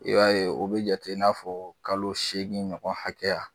I b'a ye o be jate i na fɔ kalo seegin ɲɔgɔn hakɛya.